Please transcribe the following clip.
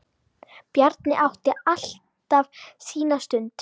Bjarni átti alltaf sína stund.